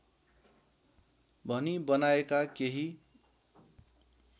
भनी बनाएका केही